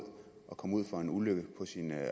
at komme ud for en ulykke på sin